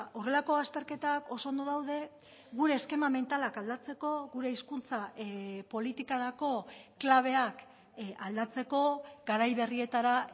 horrelako azterketak oso ondo daude gure eskema mentalak aldatzeko gure hizkuntza politikarako klabeak aldatzeko garai berrietara